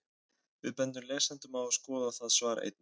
Við bendum lesendum á að skoða það svar einnig.